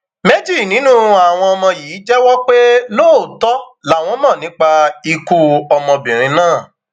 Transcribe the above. méjì nínú àwọn ọmọ yìí jẹwọ pé lóòótọ làwọn mọ nípa ikú ọmọbìnrin náà